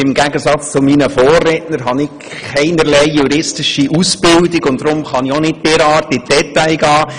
Im Gegensatz zu meinen Vorrednern habe ich keinerlei juristische Ausbildung und kann deshalb auch nicht derart in die Details gehen.